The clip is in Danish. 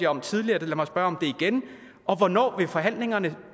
om tidligere lad mig spørge om det igen og hvornår vil forhandlingerne